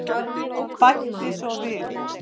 Bæti svo við.